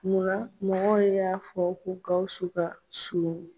Munna mɔgɔ y'a fɔ ko Gawusu ka surun?